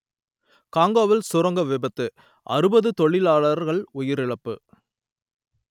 கொங்கோவில் சுரங்க விபத்து அறுபது தொழிலாளர்கள் உயிரிழப்பு